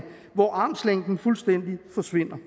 hvor armslængden fuldstændig forsvinder